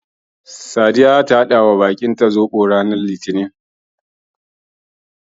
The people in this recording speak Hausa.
Sadiya zata haɗawa baƙinta Zoɓo ranar litinin.